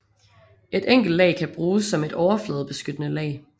Et enkelt lag kan bruges som et overfladebeskyttende lag